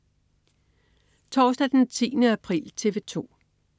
Torsdag den 10. april - TV 2: